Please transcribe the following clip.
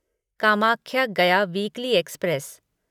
Kamakhya Gaya weekly express